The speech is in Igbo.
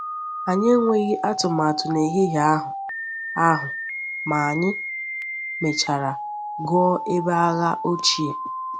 Anyị enweghi atụmatụ n’ehihie ahụ, ahụ, ma anyị mechara gụọ ebe agha ochie.